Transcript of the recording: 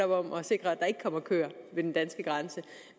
om at sikre at der ikke kommer køer ved den danske grænse